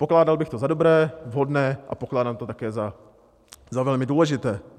Pokládal bych to za dobré, vhodné a pokládám to také za velmi důležité.